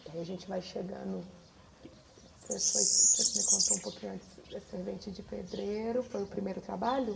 Porque aí a gente vai chegando... Você foi você me contou um pouquinho antes, Servente de Pedreiro, foi o primeiro trabalho?